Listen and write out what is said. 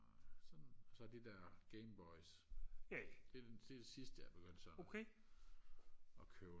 og sådan så de der gameboys det er det sidste jeg er begyndt sådan og købe